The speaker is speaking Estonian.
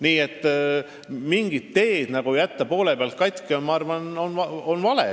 Nii et mingi tee poole pealt katki jätmine on minu arvates vale.